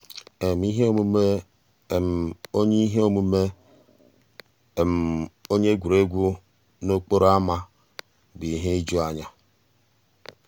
íhé òmùmé ónyé íhé òmùmé ónyé égwurégwu n'òkpòró ámá bụ́ íhé ìjùányá.